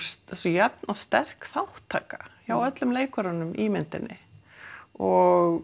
svo jafn og sterk þátttaka hjá öllum leikurunum í myndinni og